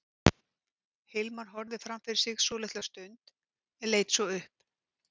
Hilmar horfði fram fyrir sig svolitla stund en leit svo upp.